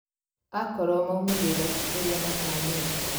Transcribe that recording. Akorwo maumĩrĩra ti ũrĩa matanyĩtwo